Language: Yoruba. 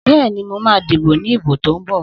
Bẹ́ẹ̀ni, mo ma díbò ní ìbò tó ń bọ̀